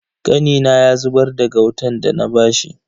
Kanina ya zubar da gautan dana bashi.